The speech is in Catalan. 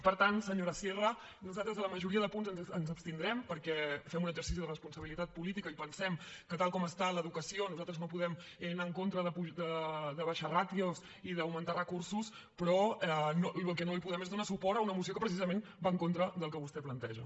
per tant senyora sierra nosaltres a la majoria de punts ens abstindrem perquè fem un exercici de responsabilitat política i pensem que tal com està l’educació nosaltres no podem anar en contra d’abaixar ràtios i d’augmentar recursos però el que no podem fer és donar suport a una moció que precisament va en contra del que vostè planteja